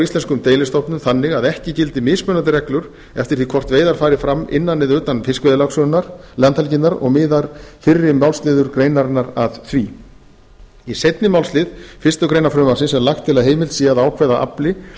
íslenskum deilistofnum þannig að ekki gildi mismunandi reglur eftir því hvort veiðar fari fram innan eða utan fiskveiðilandhelginnar og miðar fyrri málsliður greinarinnar að því í seinni málslið fyrstu grein frumvarpsins er lagt til að heimilt sé að ákveða að afli